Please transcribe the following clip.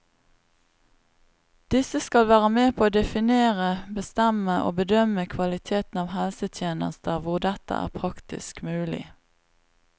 Disse skal være med på å definere, bestemme og bedømme kvaliteten av helsetjenester hvor dette er praktisk mulig.